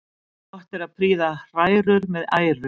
Gott er að prýða hrærur með æru.